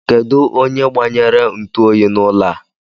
Kedụ onye gbanyere ntuoyi n'ụlọ a?